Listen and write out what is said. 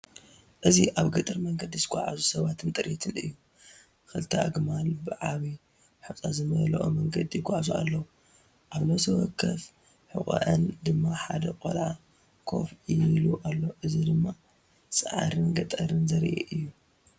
እዚ ኣብ ገጠር መንገዲ ዝጓዓዙ ሰባትን ጥሪትን እዩ። ክልተ ኣግማል ብዓቢ ሑጻ ዝመልኦ መንገዲ ይጓዓዛ ኣለዋ፣ ኣብ ነፍሲ ወከፍ ሕቖአን ድማ ሓደ ቆልዓ ኮፍ ኢሉ ኣሎ። እዚ ድማ ጻዕርን ገጠርን ዘርኢ እዩ።